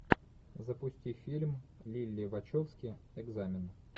запусти фильм лилли вачовски экзамен